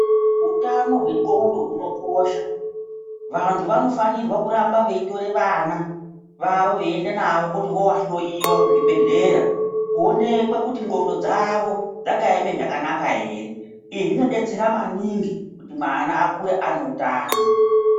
Utano hwendxondo hunokosha vantu vanofanirwa kuramba veitore vana vavo veienda navo kuti vovahloiwa kuzvibhedhlera. Koonekwe kuti ndxondo dzavo dzakaema zvakanaka ere. Izvi zvinobetsera maningi kuti mwana akure ane utano.